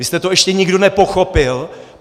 Vy jste to ještě nikdo nepochopil?